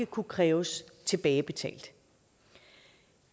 kunne kræves tilbagebetalt